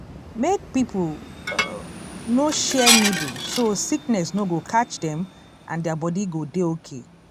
make people um no share needle so sickness no go catch dem and their body go dey okay